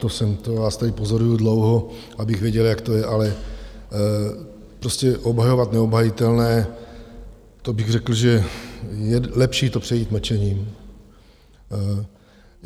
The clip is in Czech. To vás tady pozoruji dlouho, abych věděl, jak to je, ale prostě obhajovat neobhajitelné, to bych řekl, že je lepší to přejít mlčením.